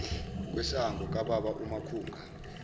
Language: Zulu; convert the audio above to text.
kwesango kwababa umakhunga